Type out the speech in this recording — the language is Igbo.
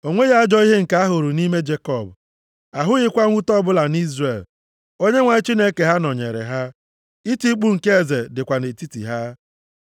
“O nweghị ajọ ihe nke ahụrụ nʼime Jekọb, ahụghịkwa mwute ọbụla nʼIzrel. Onyenwe anyị Chineke ha nọnyeere ha. Iti mkpu nke Eze dịkwa nʼetiti ha. + 23:21 Maọbụ, Ọ bụ eze ha!